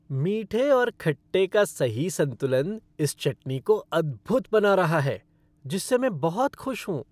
मीठे और खट्टे का सही संतुलन इस चटनी को अद्भुत बना रहा है जिससे मैं बहुत खुश हूँ।